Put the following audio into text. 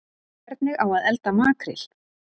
Hvernig á að elda makríl